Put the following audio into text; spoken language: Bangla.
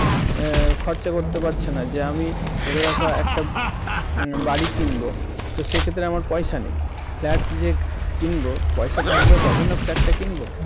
এ খরচা করতে পারছে না যে আমি ধরে রাখ যে একটা বাড়ি কিনবো তো সে ক্ষেত্রে আমার পয়সা নেই flat কিনব পয়সা থাকবে তবেই না flat টা কিনবো